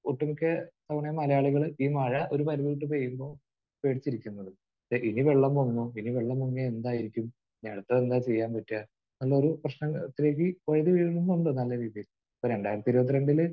ഒട്ടുമിക്ക അങ്ങനെ മലയാളികൾ ഈ മഴ ഒരു പരിധി വിട്ട് പെയ്യുമ്പോൾ പേടിച്ചിരിക്കുന്നത്. ഇനി വെള്ളം പൊങ്ങുമോ? ഇനി വെള്ളം പൊങ്ങിയാൽ എന്തായിരിക്കും? ഇനി അടുത്തത് എന്താണ് ചെയ്യാൻ പറ്റുക? എന്നൊരു പ്രശ്ന... പെയ്യുന്നുണ്ട് നല്ല രീതിയിൽ. ഇപ്പോൾ രണ്ടായിരത്തി ഇരുപത്തിരണ്ടിൽ